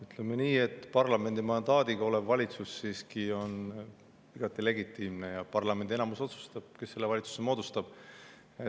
Ütleme nii, et parlamendi mandaadiga valitsus on siiski igati legitiimne ja parlamendi enamus otsustab, kes valitsuse moodustab.